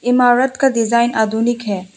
इमारत का डिजाइन आधुनिक है।